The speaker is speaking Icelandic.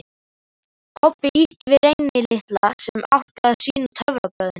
Kobbi ýtti við Reyni litla, sem átti að sýna töfrabrögðin.